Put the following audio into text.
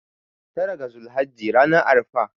tara ga zulhajji ranar arfa